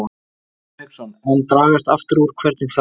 Hafsteinn Hauksson: En dragast aftur úr, hvernig þá?